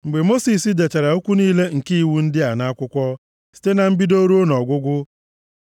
Mgbe Mosis dechara okwu niile nke iwu ndị a nʼakwụkwọ, site na mbido ruo nʼọgwụgwụ,